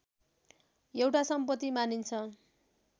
एउटा सम्पत्ति मानिन्छ